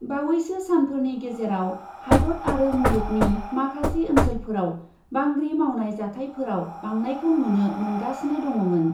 बावैसो सानफोरनि गेजेराव हादत आरो मुलुगनि माखासे ओन्सोलफोराव बांग्रि मावनाय जाथाइफोराव बांनायखौ नुनो मोनगासिनो दङमोन ।